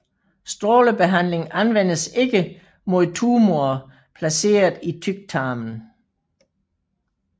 Strålebehandling anvendes ikke mod tumorer placeret i tyktarmen